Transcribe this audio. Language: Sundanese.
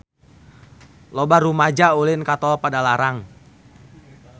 Loba rumaja ulin ka Tol Padalarang